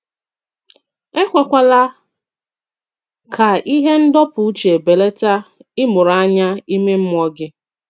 Èkwèkwàlà ka ihe ndọpụ uche belàtà ịmụrụ ànyá ime mmụọ gị.